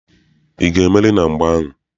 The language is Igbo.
Ị ga-emeri na mgba ahụ!